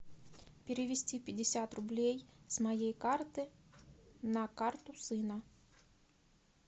перевести пятьдесят рублей с моей карты на карту сына